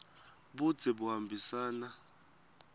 budze buhambisana